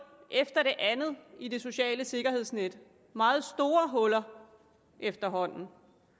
efter det andet i det sociale sikkerhedsnet meget store huller efterhånden